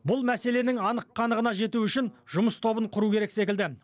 бұл мәселенің анық қанығына жету үшін жұмыс тобын құру керек секілді